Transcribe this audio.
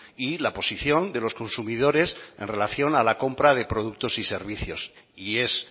y la posición de los consumidores en relación a la compra de productos y servicios y es